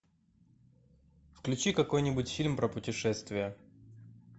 включи какой нибудь фильм про путешествия